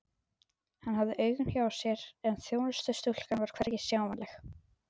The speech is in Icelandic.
Hann hafði augun hjá sér en þjónustustúlkan var hvergi sjáanleg.